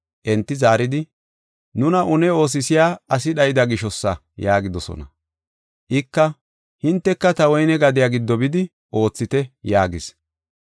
“Enti zaaridi, ‘Nuna une oosisiya asi dhayida gishosa’ yaagidosona. “Ika, ‘Hinteka ta woyne gadiya giddo bidi oothite’ yaagis.